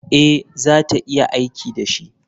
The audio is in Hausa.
Ee, za ta iya aiki da shi.